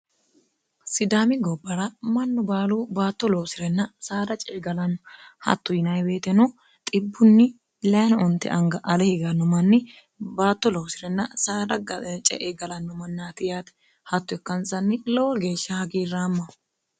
sidaami gobbara mannu baalu baatto loosi'renna saara ceegalanno hatto yinibeeteno xibbunni 6no onte anga ale higanno manni baatto loosi'renna saara ceegalanno manniati yaate hatto ikkansanni lowo geeshsha hagiirraamma